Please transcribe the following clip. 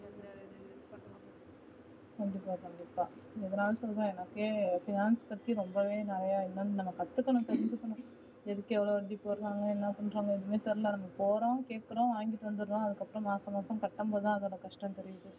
கண்டிப்பா கண்டிப்பா எதுனா சொல்ற எனக்கு finance பத்தி ரொம்பவே நிறையா எனக்கு கத்துக்கணும் தெரிஞ்சிக்கணும் எதுக்கு எவ்ளோ எப்படி போடறாங்கனு என்ன பண்றாங்க எதுவும் தெரில நம்ம போறோம் கேக்கறோம் வாங்கிட்டு வந்துறோம் அதுக்கப்புறம் மாசம் மாசம் கட்டும்போதுதான் அதோட கஷ்டம் தெரியுது